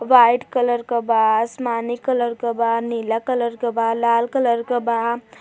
White colour क बा आसमानी कलर क बा नीला कलर क बा लाल कलर क बा।